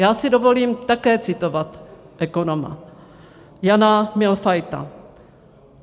Já si dovolím také citovat ekonoma, Jana Mühlfeita.